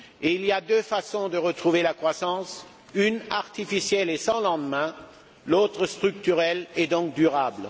Il y a deux façons de retrouver la croissance, l'une artificielle et sans lendemain, l'autre structurelle et donc durable.